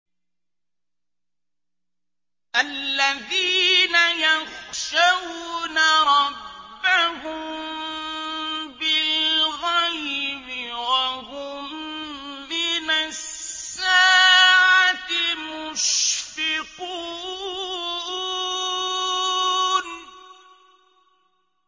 الَّذِينَ يَخْشَوْنَ رَبَّهُم بِالْغَيْبِ وَهُم مِّنَ السَّاعَةِ مُشْفِقُونَ